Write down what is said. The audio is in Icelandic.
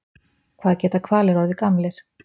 Hvað geta hvalir orðið gamlir?